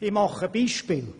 Ich mache Beispiele: